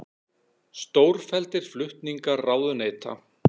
Stórfelldir flutningar ráðuneyta